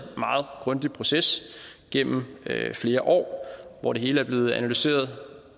grundig proces gennem flere år hvor det hele er blevet analyseret